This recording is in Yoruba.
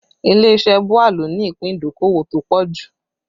Ilé iṣẹ́ BUA ló ní ìpín ìdókòwò tó pọ̀ jù